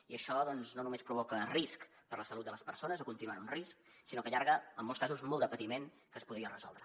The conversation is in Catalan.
i això doncs no només provoca risc per la salut de les persones o continuant un risc sinó que allarga en molts casos molt de patiment que es podria resoldre